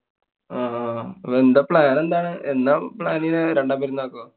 ആഹ് പ്പൊ plan എന്താണ്? എന്നാ plan ചെയ്യുന്നെ? രണ്ടാം പെരുന്നാൾക്കോ